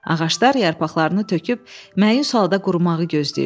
Ağaclar yarpaqlarını töküb məyus halda qurumağı gözləyirdi.